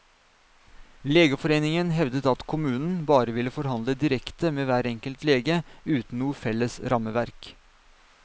Legeforeningen hevdet at kommunen bare ville forhandle direkte med hver enkelt lege, uten noe felles rammeverk.